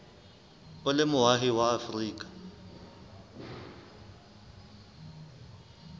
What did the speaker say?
o le moahi wa afrika